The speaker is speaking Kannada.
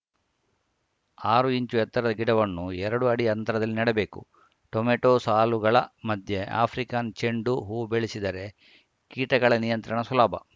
ಆರು ಇಂಚು ಎತ್ತರದ ಗಿಡವನ್ನು ಎರಡು ಅಡಿ ಅಂತರದಲ್ಲಿ ನೆಡಬೇಕು ಟೊಮ್ಯಾಟೋ ಸಾಲುಗಳ ಮಧ್ಯ ಆಫ್ರಿಕನ್‌ ಚೆಂಡು ಹೂ ಬೆಳೆಸಿದರೆ ಕೀಟಗಳ ನಿಯಂತ್ರಣ ಸುಲಭ